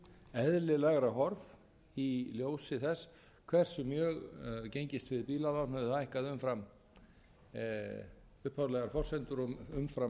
eðlilegra horf í ljósi þess hversu mjög gengistryggð bílalán höfðu hækkað umfram upphaflegar forsendur og umfram